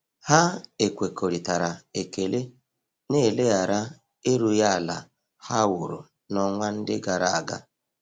Ha ekwekoritara ekele na eleghara erughi ala ha wụrụ na-onwa ndi agaraga.